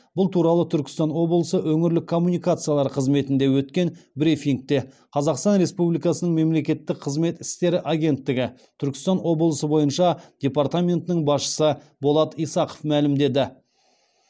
бұл туралы түркістан облысы өңірлік коммуникациялар қызметінде өткен брифингте қазақстан республикасы мемлекеттік қызмет істері агенттігі түркістан облысы бойынша департаментінің басшысы болат исақов мәлімдеді